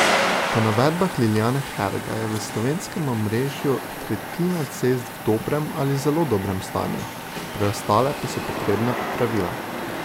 Po navedbah Lilijane Herga je v slovenskem omrežju tretjina cest v dobrem ali zelo dobrem stanju, preostale pa so potrebne popravila.